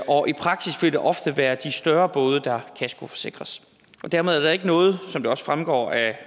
og i praksis vil det ofte være de større både der kaskoforsikres dermed er der ikke noget som det også fremgår af